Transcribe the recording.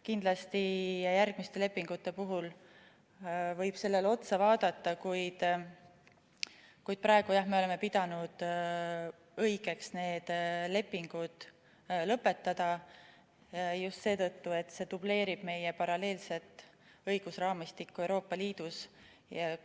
Kindlasti järgmiste lepingute puhul võib seda vaadata, kuid praegu jah, me oleme pidanud õigeks need lepingud lõpetada just seetõttu, et need dubleerivad meie paralleelset õigusraamistikku Euroopa Liidus,